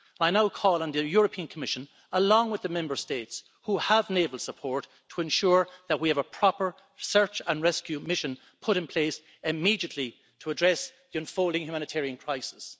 I now call on the Commission, along with the Member States which have naval support, to ensure that we have a proper search and rescue mission put in place immediately to address the unfolding humanitarian crisis.